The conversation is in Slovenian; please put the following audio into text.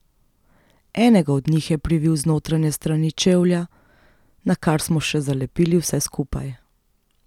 Enega od njih je privil z notranje strani čevlja, nakar smo še zalepili vse skupaj.